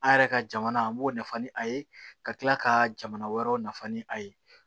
An yɛrɛ ka jamana an b'o nafa ni a ye ka kila ka jamana wɛrɛw nafa ni a ye